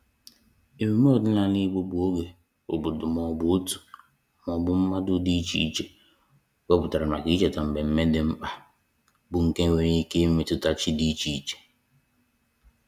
Emume ọdịnala Igbo bụ oge obodo maọbụ otu maọbụ mmadụ dị icheiche wepụtara maka icheta mmemme dị mkpa bụ nke nwere ike imetụta chi dị icheiche